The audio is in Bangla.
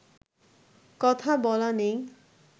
কথা বলা নেই